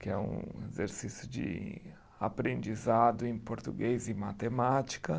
que é um exercício de aprendizado em português e matemática.